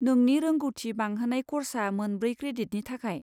नोंनि रोंग'थि बांहोनाय कर्सआ मोनब्रै क्रेडिटनि थाखाय।